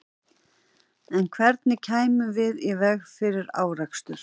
En hvernig kæmum við í veg fyrir árekstur?